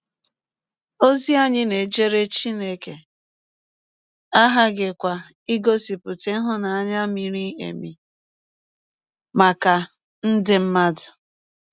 Ọzi anyị na - ejere Chineke aghaghịkwa igọsipụta ịhụnanya miri emi maka ndị mmadụ.